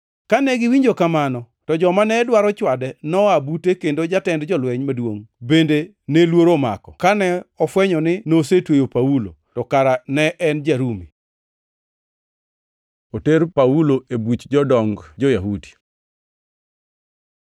Kane giwinjo kamano, to joma ne dwaro chwade noa bute kendo jatend jolweny maduongʼ bende ne luoro omako, kane ofwenyo ni nosetweyo Paulo, to kara ne en ja-Rumi. Oter Paulo e buch jodong jo-Yahudi